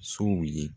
Sow ye